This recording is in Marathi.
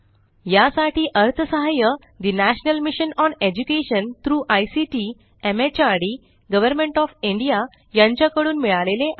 यासाठी अर्थसहाय्य the national mission on education through ICT MHRD government of India यांच्या कडून मिळाले आहे